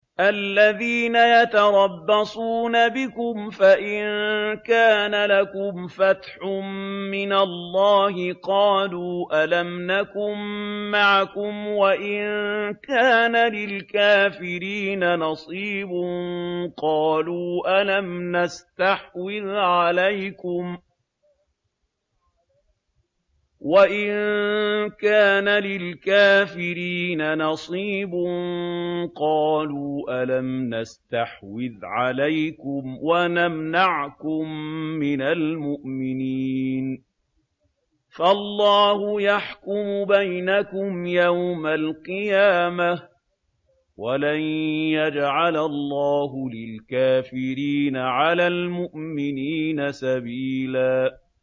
الَّذِينَ يَتَرَبَّصُونَ بِكُمْ فَإِن كَانَ لَكُمْ فَتْحٌ مِّنَ اللَّهِ قَالُوا أَلَمْ نَكُن مَّعَكُمْ وَإِن كَانَ لِلْكَافِرِينَ نَصِيبٌ قَالُوا أَلَمْ نَسْتَحْوِذْ عَلَيْكُمْ وَنَمْنَعْكُم مِّنَ الْمُؤْمِنِينَ ۚ فَاللَّهُ يَحْكُمُ بَيْنَكُمْ يَوْمَ الْقِيَامَةِ ۗ وَلَن يَجْعَلَ اللَّهُ لِلْكَافِرِينَ عَلَى الْمُؤْمِنِينَ سَبِيلًا